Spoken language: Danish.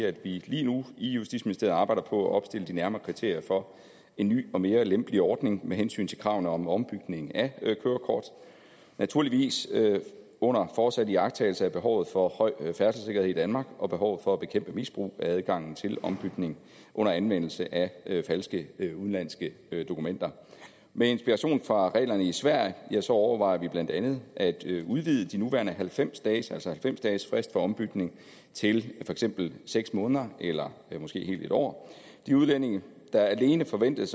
at vi lige nu i justitsministeriet arbejder på at opstille de nærmere kriterier for en ny og mere lempelig ordning med hensyn til kravene om ombytning af kørekort naturligvis under fortsat iagttagelse af behovet for høj færdselssikkerhed i danmark og behovet for at bekæmpe misbrug af adgangen til ombytning under anvendelse af falske udenlandske dokumenter med inspiration fra reglerne i sverige overvejer vi blandt andet at udvide de nuværende halvfems dage altså halvfems dagesfristen for ombytning til for eksempel seks måneder eller måske et helt år de udlændinge der alene forventes